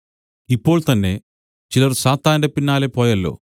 ഇപ്പോൾതന്നെ ചിലർ സാത്താന്റെ പിന്നാലെ പോയല്ലോ